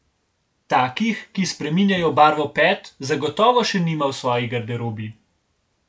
Takih, ki spreminjajo barvo pet, zagotovo še nima v svoji garderobi.